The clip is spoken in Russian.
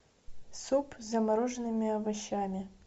суп с замороженными овощами